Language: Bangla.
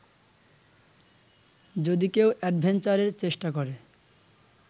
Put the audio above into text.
যদি কেউ অ্যাডভেঞ্চারের চেষ্টা করে